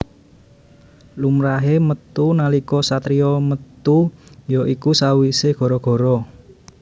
Lumrahé metu nalika satriya metu ya iku sawisé gara gara